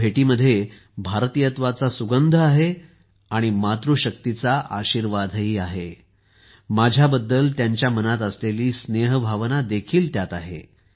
या भेटीत भारतीयत्वाचा सुगंध आहे आणि मातृशक्तीचा आशीर्वाद आहे माझ्याबद्दल त्यांच्या मनात असलेली स्नेहभावना आहे